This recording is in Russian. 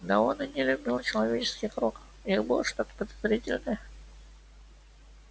да он и не любил человеческих рук в них было что-то подозрительное